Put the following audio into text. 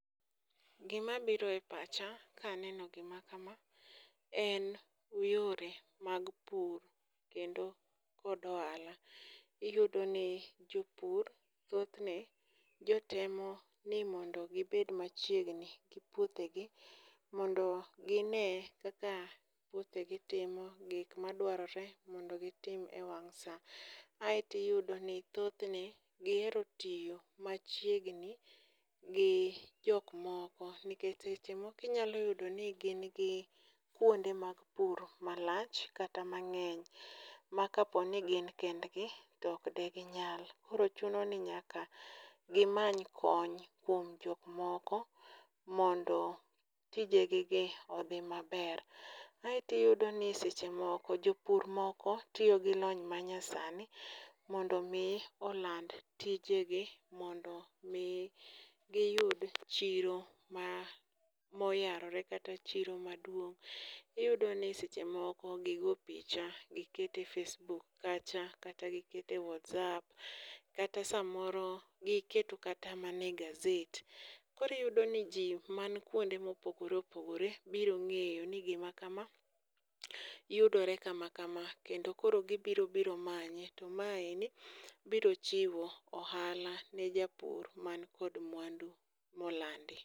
Gimabiro e pacha kaneno gima kama en yore mag pur kendo kod ohala, iyudoni jopur thothne jotemo ni mondo gibed machiegni gi puothegi mondo gine kaka puothegi timo, gik madwarore mondo gitim e wang' sa, aeto iyudo ni thothne gihero tiyo machiegni gi jok moko nikech seche moko inyalo yudo ni gin gi kwonde mag puro malach kata mang'eny ma kapo ni gin kendgi to ok diginyal, koro chuno ni nyaka gimany kony kuom jok moko mondo tije gigi odhi maber, aeto iyudo ni seche moko jok moko tiyo gi lony manyasani mondo omi oland tijegi mondo omi giyud chiro moyarore kata chiro maduong', Iyudo ni seche moko gigo picha giketo e facebook kacha kata giketo e whatsapp kata samoro giketo kata mana e gaset, koro iyudoni ji man kwonde mopogore opogore biro ng'eyo ni gima kama yudore kama kama, kendo koro gibiro biro manye to maeni biro chiwo ohala ne japur man kod mwandu molandi.